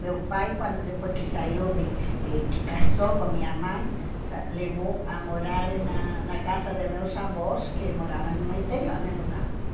Meu pai, quando depois que saiu, de e que casou com minha mãe, sa levou a morar e na na casa de meus avós, que moravam no interior né, no campo.